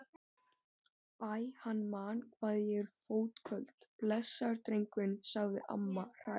Æ, hann man hvað ég er fótköld, blessaður drengurinn sagði amma hrærð.